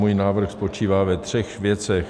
Můj návrh spočívá ve třech věcech.